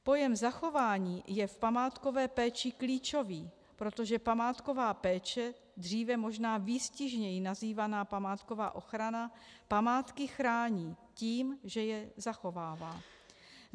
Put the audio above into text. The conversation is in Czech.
Pojem zachování je v památkové péči klíčový, protože památková péče, dříve možná výstižněji nazývaná památková ochrana, památky chrání tím, že je zachovává.